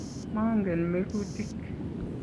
maangen mekutik